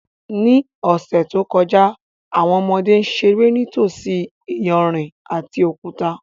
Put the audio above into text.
Ní ọ̀sẹ̀ tó kọjá, àwọn ọmọdé ń ṣeré nítòsí iyanrìn àti òkúta